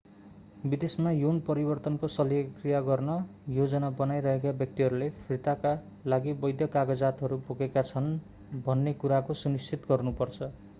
विदेशमा यौन परिवर्तनको शल्यक्रिया गर्ने योजना बनाइरहेका व्यक्तिहरूले फिर्ताका लागि वैध कागजातहरू बोकेका छन् भन्ने कुराको सुनिश्चित गर्नु पर्छ